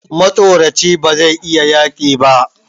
Matsoraci bazai iya yaƙi ba